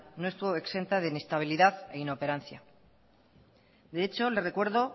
no estuvo exenta de inestabilidad e inoperancia de hecho le recuerdo